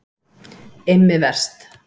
Immi Verst